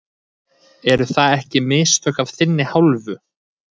Eru það ekki mistök af þinni hálfu?